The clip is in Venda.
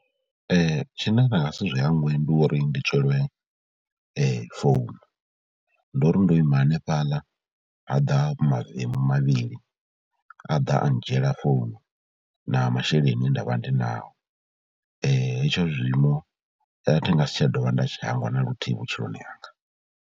Tshine nda nga si zwi hangwe ndi uri ndi tswelwe founu, ndori ndo ima hanefhaḽa ha ḓa mavemu mavhili, a ḓa a ndzhiela founu na masheleni e nda vha ndi naho. Hetsho zwiimo a thi nga si tsha dovha nda tshi hangwa na luthihi vhutshiloni hanga.